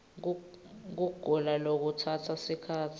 kugula lokutsatsa sikhatsi